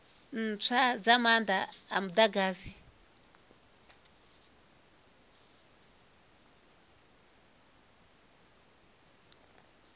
ntswa dza maanda a mudagasi